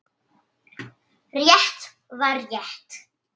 Rétt var rétt.